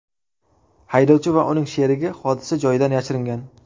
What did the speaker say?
Haydovchi va uning sherigi hodisa joyidan yashiringan.